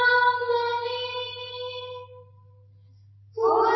বন্দে মাতরম